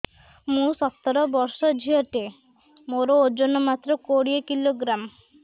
ମୁଁ ସତର ବର୍ଷ ଝିଅ ଟେ ମୋର ଓଜନ ମାତ୍ର କୋଡ଼ିଏ କିଲୋଗ୍ରାମ